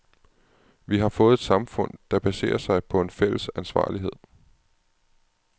Vi har fået et samfund, der baserer sig på en fælles ansvarlighed.